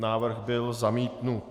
Návrh byl zamítnut.